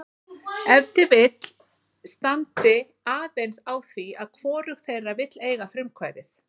Ef til vill strandi aðeins á því að hvorug þeirra vill eiga frumkvæðið.